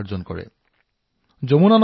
এনে এটা উদাহৰণ হল হাৰিয়ানাৰ যমুনা চহৰ